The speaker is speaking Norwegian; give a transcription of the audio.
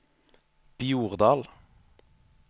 Bjordal